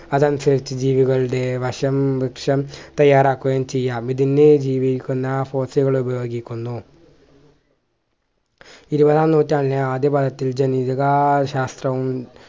അതനുസരിച്ച് ജീവികളുടെ വശം വൃക്ഷം തയ്യാറാക്കുകയും ചെയ്യാം ഇതിനെ ജീവിക്കുന്ന ഉപയോഗിക്കുന്നു ഇരുപതാം നൂറ്റാണ്ടിൻ്റെ ആദ്യഭാഗത്ത് ജനിതകാ ശാസ്ത്രവും